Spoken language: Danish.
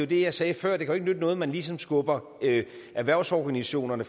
det jeg sagde før det kan ikke nytte noget man ligesom skubber erhvervsorganisationerne